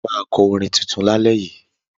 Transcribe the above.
Ẹ máa kọ́ orin tuntun lálẹ́ yìí.